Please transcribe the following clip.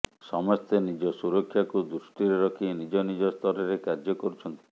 ସମସ୍ତେ ନିଜ ସୁରକ୍ଷାକୁ ଦୃଷ୍ଟିରେ ରଖି ନିଜ ନିଜ ସ୍ତରରେ କାର୍ଯ୍ୟ କରୁଛନ୍ତି